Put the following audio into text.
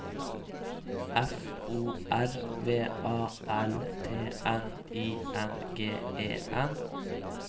F O R V A L T N I N G E N